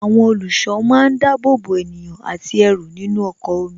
Àwọn olùṣọ́ máa ń dábòbò ènìyàn àti ẹrù nínú ọkọ̀ omi